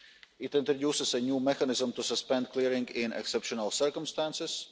it introduces a new mechanism to suspend clearing in exceptional circumstances